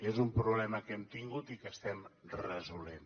és un problema que hem tingut i que estem resolent